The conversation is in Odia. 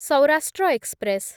ସୌରାଷ୍ଟ୍ର ଏକ୍ସପ୍ରେସ୍‌